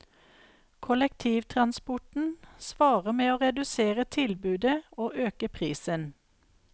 Kollektivtransporten svarer med å redusere tilbudet og øke prisen.